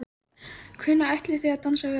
Hvenær ætlið þið að dansa við okkur?